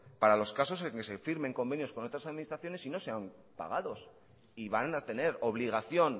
para los casos en los que se firmen convenios con otras administraciones y no sean pagados y van a tener obligación